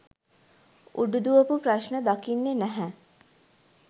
උඩු දුවපු ප්‍රශ්න දකින්නේ නැහැ